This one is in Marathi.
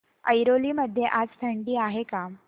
ऐरोली मध्ये आज थंडी आहे का